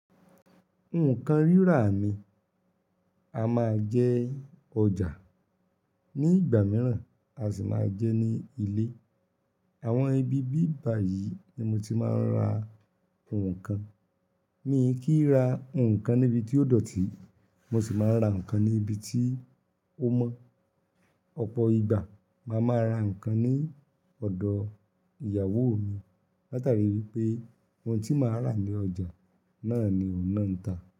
Nǹkan rírà mi, a máa ń jẹ ọjà, ní ìgbà mìíràn a sì máa ń jẹ ní ilé. Àwọn ibi bíbá yìí ni mo ti máa ń ra nǹkan. Mi kì í ra nǹkan níbi tí ó dọ̀tí, mo sì máa ń ra nǹkan níbi tí ó mọ́. Ọ̀pọ̀ ìgbà máa ma ra nǹkan ní ọ̀dọ̀ ìyàwó mi, látàrí wípé ohun tí màá rà ní ọjà náà ni òun náà ń ta.